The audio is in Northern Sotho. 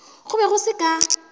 go be go se ka